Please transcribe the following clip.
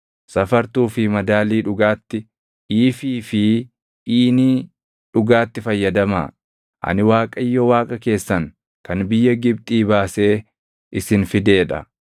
Safartuu fi madaalii dhugaatti, iifii + 19:36 Iifiin tokko liitirii 22. fi iinii + 19:36 Iiniin tokko liitirii 4. dhugaatti fayyadamaa. Ani Waaqayyo Waaqa keessan kan biyya Gibxii baasee isin fidee dha.